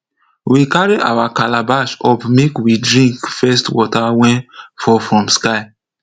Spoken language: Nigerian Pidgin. we carry our calabash up make we drink first water wey fall from sky